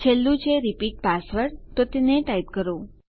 છેલ્લું છે repeat password તો તેને ટાઈપ કરો